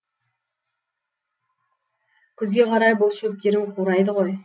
күзге қарай бұл шөптерің қурайды ғой